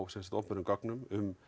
opinberum göngum